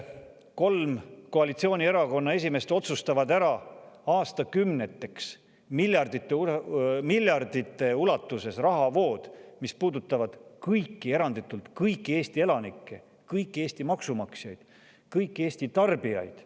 Kolm koalitsioonierakonna esimeest otsustavad aastakümneteks ära miljardite ulatuses rahavood, mis puudutavad eranditult kõiki Eesti elanikke, kõiki Eesti maksumaksjaid, kõiki Eesti tarbijaid.